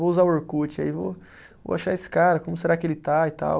Vou usar o Orkut, aí vou, vou achar esse cara, como será que ele está e tal.